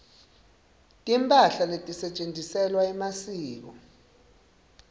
timphahla letisetjentiselwa emasiko